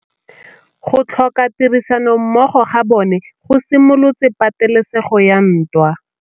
Go tlhoka tirsanommogo ga bone go simolotse patêlêsêgô ya ntwa.